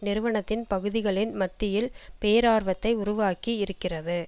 நிறுவனத்தின் பகுதிகளின் மத்தியில் பேரார்வத்தை உருவாக்கி இருக்கிறது